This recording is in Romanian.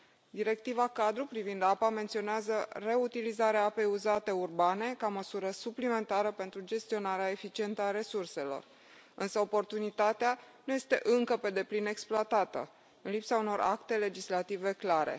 Directiva cadru privind apa menționează reutilizarea apei uzate urbane ca măsură suplimentară pentru gestionarea eficientă a resurselor, însă oportunitatea nu este încă pe deplin exploatată în lipsa unor acte legislative clare.